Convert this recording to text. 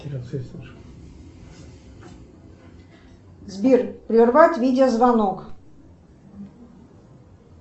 сбер прервать видео звонок